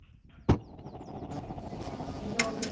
ଏଇ ନଉଟୁ ଥିଲି